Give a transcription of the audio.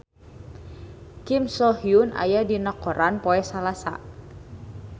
Kim So Hyun aya dina koran poe Salasa